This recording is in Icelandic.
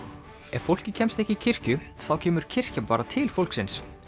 ef fólkið kemst ekki í kirkju þá kemur kirkjan bara til fólksins